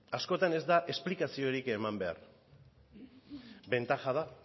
askotan ez da esplikaziorik eman behar bentaja da